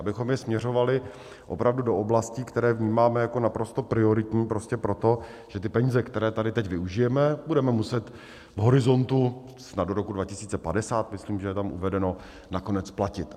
Abychom je směřovali opravdu do oblastí, které vnímáme jako naprosto prioritní, prostě proto, že ty peníze, které tady teď využijeme, budeme muset v horizontu snad do roku 2050 myslím, že je tam uvedeno, nakonec splatit.